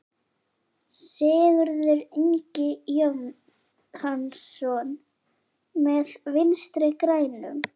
Sigurður Ingi Jóhannsson: Með Vinstri-grænum?